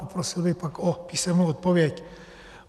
Poprosil bych pak o písemnou odpověď.